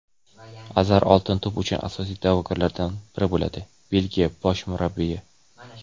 Azar "Oltin to‘p" uchun asosiy da’vogarlardan biri bo‘ladi – Belgiya bosh murabbiyi.